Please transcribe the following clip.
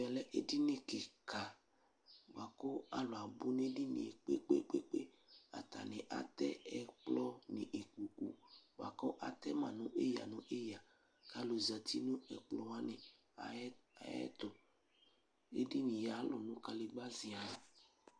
Ɛvɛ lɛ edini kiika bʋa kʋ alʋ abʋ n'edini yɛ kpekpeɖeŋu, atani atɛ ɛkplɔ nʋ ikpoku bua ku atɛma nʋ eyǝ nʋ eyǝ k'alʋ zati nʋ ɛkplɔwani ɛyɛtʋ, edini yɛ alʋ nʋ kadegba ziian